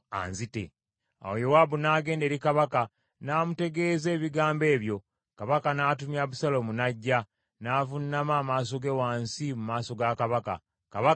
Awo Yowaabu n’agenda eri kabaka, n’amutegeeza ebigambo ebyo. Kabaka n’atumya Abusaalomu, n’ajja, n’avuunama amaaso ge wansi mu maaso ga kabaka. Kabaka n’amunywegera.